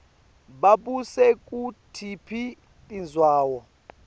babuse kutiphi tindzawo